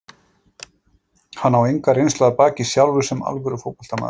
Hann á enga reynslu að baki sjálfur sem alvöru fótboltamaður.